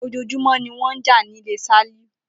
Ojoojúmó ni wón n jà nílé Sálíù